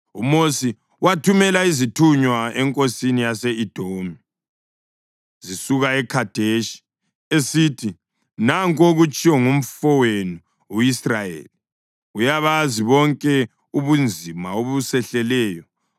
UMosi wathumela izithunywa enkosini yase-Edomi zisuka eKhadeshi, esithi: “Nanku okutshiwo ngumfowenu u-Israyeli: Uyabazi bonke ubunzima obusehleleyo.